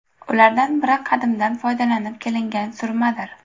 Ulardan biri qadimdan foydalanib kelingan surmadir.